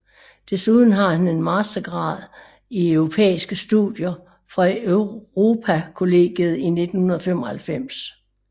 Desuden har han en mastergrad i europæiske studier fra Europakollegiet i 1995